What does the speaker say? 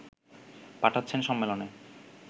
পাঠাচ্ছেন সম্মেলনে